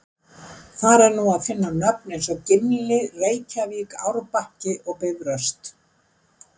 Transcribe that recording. Þar er nú að finna nöfn eins og Gimli, Reykjavík, Árbakki og Bifröst.